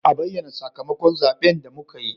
A bayyana sakamakon zaben da muka yi.